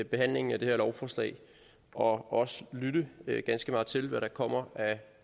behandlingen af det her lovforslag og også lytte ganske meget til hvad der kommer af